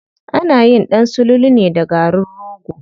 Anayin ɗan sululu ne da garin rogo.